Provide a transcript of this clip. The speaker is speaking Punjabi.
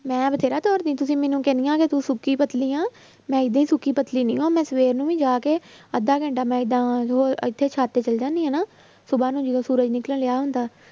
ਮੈਂ ਬਥੇਰਾ ਦੌੜਦੀ ਤੁਸੀਂ ਮੈਨੂੰ ਕਹਿਨੀਆਂ ਕਿ ਤੂੰ ਸੁੱਕੀ ਪਤਲੀ ਆਂ ਮੈਂ ਏਦਾਂ ਹੀ ਸੁੱਕੀ ਪਤਲੀ ਨਹੀਂ ਹਾਂ, ਮੈਂ ਸਵੇਰ ਨੂੰ ਵੀ ਜਾ ਕੇ ਅੱਧਾ ਘੰਟਾ ਮੈਂ ਏਦਾਂ ਸੁਭਾ ਇੱਥੇ ਸੱਤ ਤੇ ਚਲੇ ਜਾਂਦੀ ਹਾਂ ਨਾ ਸੁਭਾ ਨੂੰ ਜਦੋਂ ਸੂਰਜ ਨਿਕਲ ਰਿਹਾ ਹੁੰਦਾ